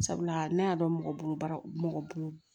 Sabula ne y'a dɔn mɔgɔ bolo baara mɔgɔ bolo